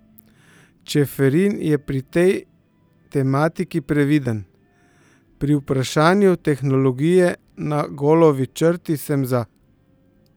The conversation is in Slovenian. Čeferin je pri tej tematiki previden: 'Pri vprašanju tehnologije na golovi črti sem za.